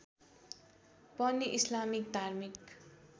पनि इस्लामिक धार्मिक